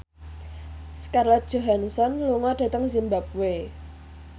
Scarlett Johansson lunga dhateng zimbabwe